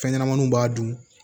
Fɛnɲɛnɛmaninw b'a dun